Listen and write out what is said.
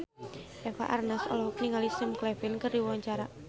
Eva Arnaz olohok ningali Sam Claflin keur diwawancara